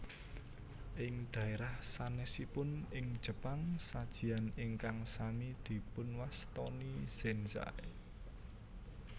Ing dhaérah sanèsipun ing Jepang sajian ingkang sami dipunwastani zenzai